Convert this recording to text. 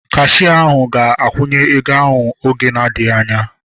Kashia ahu ga-akwụnye ego ahu oge na adịghị anya